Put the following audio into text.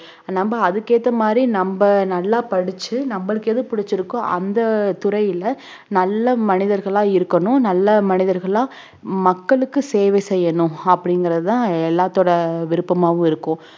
நம்ம அதுக்கேத்த மாதிரி நம்ம நல்லா படிச்சு நம்மளுக்கு எது பிடிச்சிருக்கோ அந்தத் துறையில நல்ல மனிதர்களா இருக்கணும் நல்ல மனிதர்களா மக்களுக்கு சேவை செய்யணும் அப்படிங்கறது தான் எல்லாத்தோட விருப்பமாவும் இருக்கும்